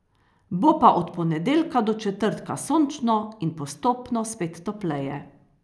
Bo pa od ponedeljka do četrtka sončno in postopno spet topleje.